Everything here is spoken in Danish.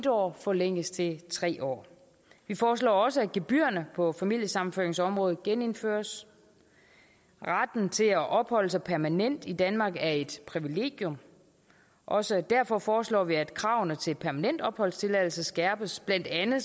år forlænges til tre år vi foreslår også at gebyrerne på familiesammenføringsområdet genindføres retten til at opholde sig permanent i danmark er et privilegium og også derfor foreslår vi at kravene til permanent opholdstilladelse skærpes blandt andet